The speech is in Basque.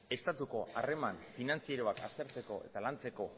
estatuko harreman finantzieroak aztertzeko eta lantzeko